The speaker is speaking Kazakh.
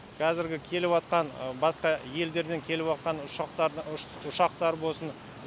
кәзіргі келіватқан басқа елдерден келіватқан ұшақтарды ұшақтар болсын